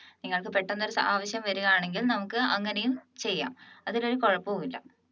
നിങ്ങൾക്ക് പെട്ടെന്ന് ഒരു ആവശ്യം വരികയാണെങ്കിൽ നമുക്ക് അങ്ങനെയും ചെയ്യാം അതിൽ ഒരു കുഴപ്പവുമില്ല